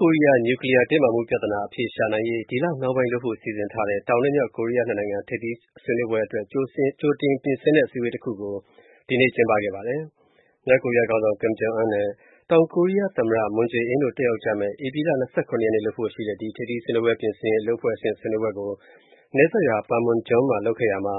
ကိုရီးယား နျူကလီယား တင်းမာမှုပြဿနာ အဖြေရှာနိုင်ရေး ဒီလနှောင်းပိုင်းလုပ်ဖို့ စီစဉ်ထားတဲ့ တောင်နဲ့ မြောက်ကိုရီးယား နှစ်နိုင်ငံ ထိပ်သီးဆွေးနွေးပွဲအတွက် ကြိုတင်ပြင်ဆင်တဲ့ အစည်းအဝေးတစ်ခုကိုဒီနေ့ ကျင်းပခဲ့ပါတယ်။ မြောက်ကိုရီးယားခေါင်းဆောင် Kim Jong Un နဲ့ တောင်ကိုးရီးယား သမ္မတ Moon Jae-in တို့တက်ရောက်မဲ့ ဧပြီ ၂၇ ရက် လုပ်ဖို့ရှိတဲ့ ဒီ ထိပ်သီးဆွေးနွေးပွဲ ပြင်ဆင်ရေး အလုပ်အဖွဲ့အဆင့် ဆွေးနွေးပွဲကို၊နယ်စပ်ရွာ Panmunjom မှာ လုပ်ခဲ့ရာမှာ